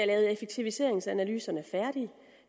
lavet effektiviseringsanalyserne færdige